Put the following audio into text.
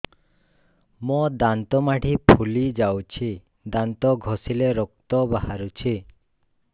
ମୋ ଦାନ୍ତ ମାଢି ଫୁଲି ଯାଉଛି ଦାନ୍ତ ଘଷିଲେ ରକ୍ତ ବାହାରୁଛି